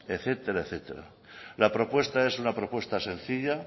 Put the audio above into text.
etcétera etcétera la propuesta es una propuesta sencilla